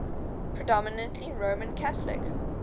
predominantly roman catholic